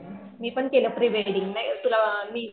मी पण केलं pre wedding नय तुला मी